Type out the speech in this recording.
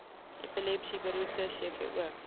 epilepsie beroerte cvo